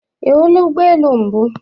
Ị hụla ụgbọ elu mbụ?